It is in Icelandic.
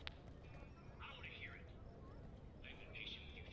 Þeir völdu staðinn og hann lét mæla út fyrir grunni.